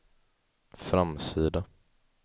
framsida